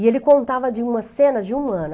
E ele contava de uma cena de um ano.